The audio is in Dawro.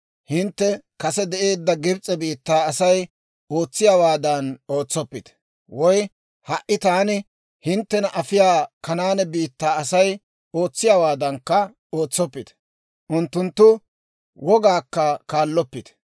Hintte kase de'eedda Gibs'e biittaa Asay ootsiyaawaadan ootsoppite; woy ha"i taani hinttena afiyaa Kanaane biittaa Asay ootsiyaawaadankka ootsoppite; unttunttu wogaakka kaalloppite.